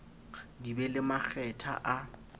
di be le makgetha a